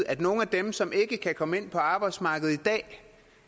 at nogle af dem som ikke kan komme ind på arbejdsmarkedet i dag